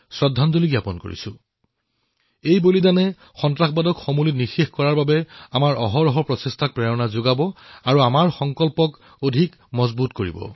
এই প্ৰাণত্যাগে সন্ত্ৰাসবাদক সমূলি ধ্বংস কৰাৰ বাবে আমাক অহৰহ প্ৰেৰণা যোগাব আমাৰ সংকল্প অধিক শক্তিশালী কৰিব